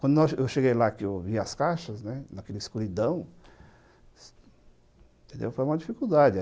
Quando eu cheguei lá, que eu vi as caixas, né, naquela escuridão, foi uma dificuldade.